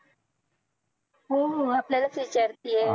हो हो हो आपल्यालाच विचारतेय